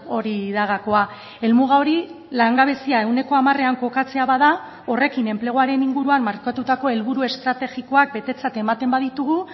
hori da gakoa helmuga hori langabezia ehuneko hamarean kokatzea bada horrekin enpleguaren inguruan markatutako helburu estrategikoak betetzat ematen baditugu